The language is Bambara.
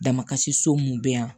Damakasi so mun bɛ yan